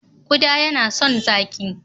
Ƙuda yana son zaƙi.